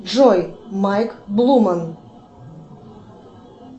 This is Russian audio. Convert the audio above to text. джой майк блуман